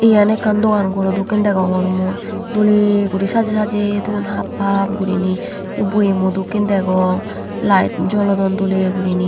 iyan ekkan dogan ghorl dokkin degongor mui dole guri sajey sajey thoyun hap hap guriney boyemot dokkin degong light jolodon dol guri.